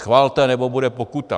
Schvalte, nebo bude pokuta!